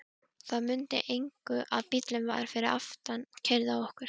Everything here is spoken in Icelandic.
Það munaði engu að bíllinn fyrir aftan keyrði á okkur!